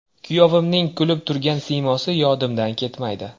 Kuyovimning kulib turgan siymosi yodimdan ketmaydi.